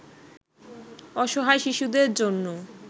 অসহায় শিশুদের জন্য